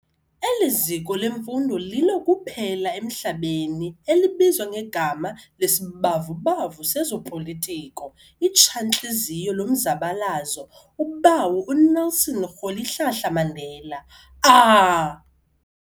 Eliziko lemfundo lilo kuphela emhlabeni elibizwa ngegama les'bavubavu sezopolitiko, itsha ntliziyo lomzabalazo ubawo uNelson Rholihlahla Mandela Ahh!